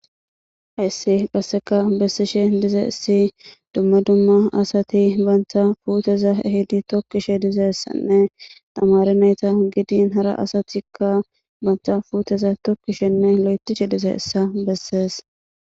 Hayissi qasseka bessishe dizayissi dumma dumma asati banta puuteza ehidi tokkishe dizayissanne tamare nayta gidin hara asatikka banta fuuteza tokkishenne lo7etishe dizayissa bessees